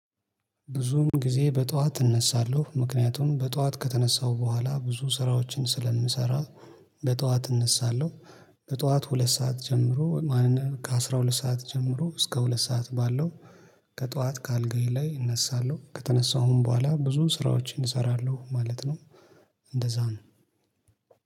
ብዙም ጊዜ በጧት እነሳለሁ ምክንያቱም በጧት ከተነሳው በኋላ ብዙ ስራዎችን ስለምሰራ በጧት እነሳለሁ። በጧት ሁለት ሰዓት ጀምሮ ከአሥራ ሁለት ሰዓት ጀምሮ እስከ ሁለት ሰዓት ባለው። ከጧት ከአልጋዬ ላይ እነሳለሁ ከተነሳሁም በኋላ ብዙ ስራዎቼን እሰራለሁ ማለት ነው። እንደዛ ነው